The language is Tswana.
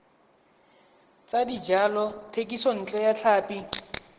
tsa dijalo thekisontle ya tlhapi